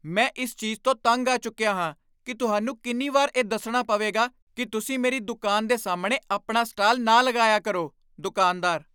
ਮੈਂ ਇਸ ਚੀਜ਼ ਤੋਂ ਤੰਗ ਆ ਚੁੱਕੀਆ ਹਾਂ ਕੀ ਤੁਹਾਨੂੰ ਕਿੰਨੀ ਵਾਰ ਇਹ ਦੱਸਣਾ ਪਵੇਗਾ ਕੀ ਤੁਸੀਂ ਮੇਰੀ ਦੁਕਾਨ ਦੇ ਸਾਹਮਣੇ ਆਪਣਾ ਸਟਾਲ ਨਾ ਲਗਾਇਆ ਕਰੋ? ਦੁਕਾਨਦਾਰ